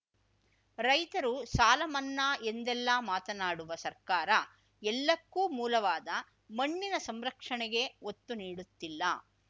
ರೈತರು ಸಾಲಮನ್ನಾ ಎಂದೆಲ್ಲ ಮಾತನಾಡುವ ಸರ್ಕಾರ ಎಲ್ಲಕ್ಕೂ ಮೂಲವಾದ ಮಣ್ಣಿನ ಸಂರಕ್ಷಣೆಗೇ ಒತ್ತು ನೀಡುತ್ತಿಲ್ಲ